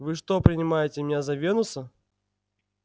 вы что принимаете меня за венуса